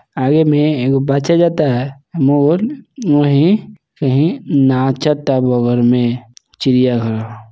आगे में एगो बच्चा जाता है मोर में चिड़िया घर--